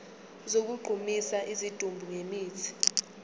sokugqumisa isidumbu ngemithi